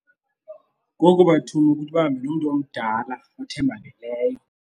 Ngoku bathuma ukuthi bahambe momntu omdala othembakeleyo.